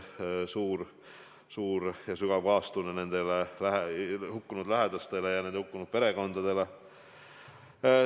Suur ja sügav kaastunne nende inimeste lähedastele, nende perekondadele.